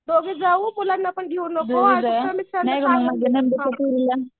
दोघीच जाऊ मुलांना पण घेई नको असं पण